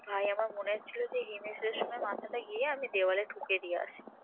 ভাই আমার মনে হচ্ছিল যে হিমেশ রেশমিয়ার মাথাটা গিয়ে আমি দেয়ালে ঠুকে দিয়ে আসি